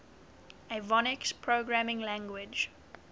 avionics programming language